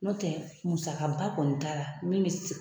N'o tɛ muskaba kɔni t'a la min bɛ se